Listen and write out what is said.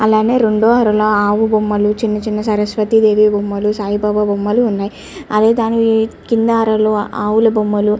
అలానే రెండు బొమ్మలు చిన్న చిన్న సరస్వతీ దేవి బొమ్మలు సాయిబాబా బొమ్మలు ఉన్నాయ్ అదే దాని కింద ఆవుల బొమ్మలు --